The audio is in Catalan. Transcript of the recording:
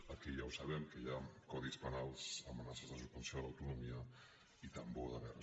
aquí ja ho sabem que hi ha codis penals i amenaces de suspensió de l’autonomia i tambor de guerres